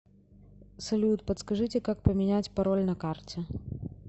салют подскажите как поменять пароль на карте